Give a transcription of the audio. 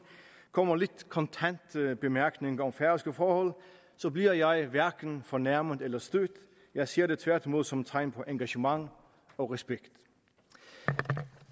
kommer lidt kontante bemærkninger om færøske forhold bliver jeg hverken fornærmet eller stødt jeg ser det tværtimod som tegn på engagement og respekt